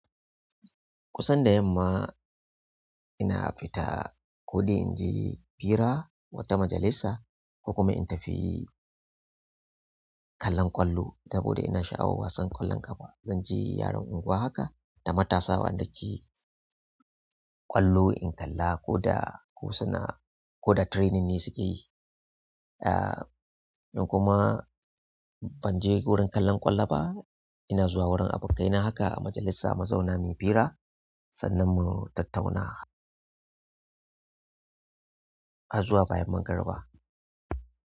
Kusan da yamma ina fita ko dai in je hira wata majalisa ko kuma in tafi kallon ƙwallo saboda ina sha'awar wasan ƙwallon ƙafa. Zanje yaron unguwa haka da matasa waɗanda ke ƙwallo in kalla ko da ko suna ko da training ne suke yi. Ah, in kuma ban je wurin kallon ƙwallo ba ina zuwa wurin abokaina haka a majalisa muzauna muyi hira sannan mu tattauna. Har zuwa bayan magariba.